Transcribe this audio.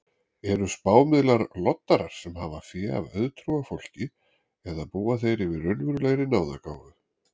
Eru spámiðlar loddarar sem hafa fé af auðtrúa fólki eða búa þeir yfir raunverulegri náðargáfu?